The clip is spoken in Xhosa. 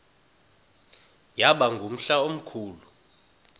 yaba ngumhla omkhulu